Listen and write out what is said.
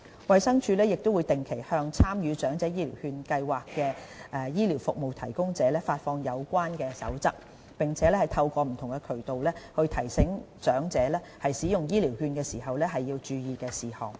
衞生署亦定期向參與長者醫療券計劃的醫療服務提供者發放有關守則，並透過不同渠道，提醒長者使用醫療券時應注意的事項。